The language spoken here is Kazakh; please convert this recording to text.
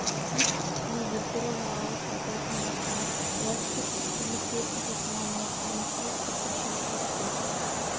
кит үстіне елтірі жағалы пальтосын басына велосипед тепкенде киетін тоқыма малақайын киіп сыртқа шығып кетті